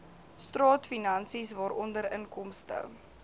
staatsfinansies waaronder inkomste